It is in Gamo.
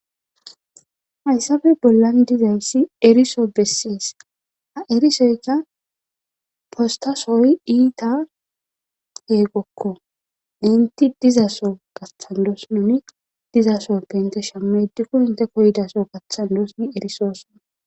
hayssafe bollan dizayssi eriso bessis a7erisoyka postasoy iita heegokko inti dizaso gaththandos noni diza so pe inte shammeedikko hinte koydaso gathandoosni erisoosona